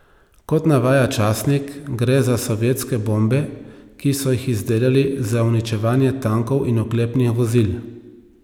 Kot navaja časnik, gre za sovjetske bombe, ki so jih izdelali za uničevanje tankov in oklepnih vozil.